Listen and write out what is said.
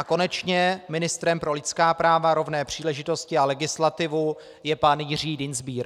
A konečně ministrem pro lidská práva, rovné příležitosti a legislativu je pan Jiří Dienstbier.